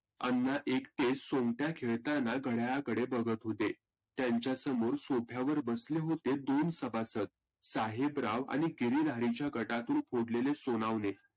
अण्णा एकटे सोंगट्या खळताना घडाळाकडे बघत होते. त्यांच्या समोर sofa वर बसले होते दोन सभासद. साहेबराब आणि गिरीहारीच्या गटातून फोडलेले सोनावने.